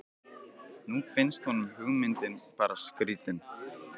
Nú finnst honum hugmyndin bara skrýtin.